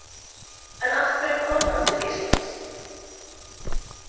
En af hverju kom hann til Íslands?